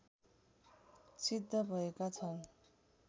सिद्ध भएका छन्।